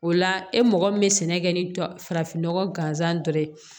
O la e mɔgɔ min bɛ sɛnɛ kɛ ni farafin nɔgɔ gansan dɔrɔn ye